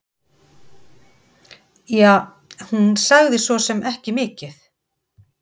Ja, hún sagði svosem ekki mikið.